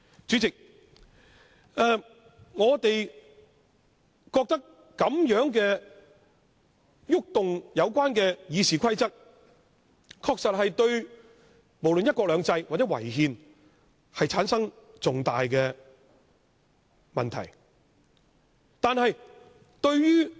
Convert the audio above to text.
主席，我們認為對《議事規則》的修訂確實存在違反"一國兩制"或違憲等重大的問題。